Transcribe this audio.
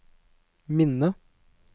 minne